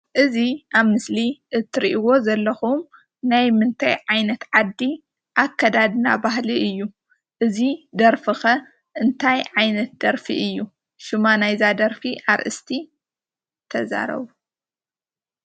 እዚ አብ ምስሊ እትሪኢዎ ዘለኹም ናይ ምንታይ ዓይነት ዓዲ አከዳድና ባህሊ እዩ? እዚ ደርፊ ኸ እንታይ ዓይነት ደርፊ እዩ? ሹማ ናይ ’ዛ ደርፊ አርእስቲ ተዛረቡ፡፡